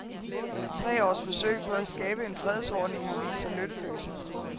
Tre års forsøg på at skabe en fredsordning har vist sig nytteløse.